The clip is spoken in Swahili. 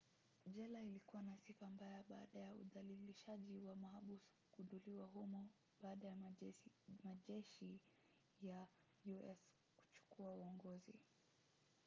jela ilikuwa na sifa mbaya baada ya udhalilishaji wa mahabusu kugunduliwa humo baada ya majeshi ya us kuchukua uongozi